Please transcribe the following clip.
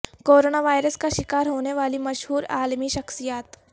corona virus کا شکار ہونے والی مشہور عالمی شخصیات